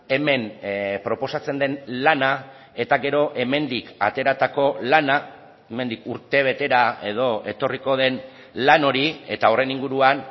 hemen proposatzen den lana eta gero hemendik ateratako lana hemendik urtebetera edo etorriko den lan hori eta horren inguruan